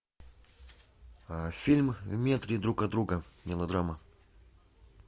фильм в метре друг от друга мелодрама